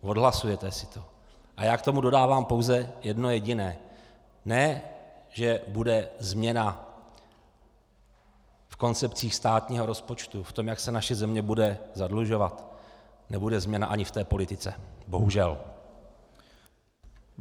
Odhlasujete si to a já k tomu dodávám pouze jedno jediné: Ne že bude změna v koncepcích státního rozpočtu, v tom jak se naše země bude zadlužovat, nebude změna ani v té politice, bohužel.